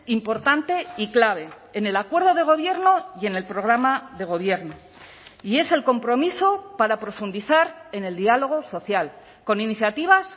importante y clave en el acuerdo de gobierno y en el programa de gobierno y es el compromiso para profundizar en el diálogo social con iniciativas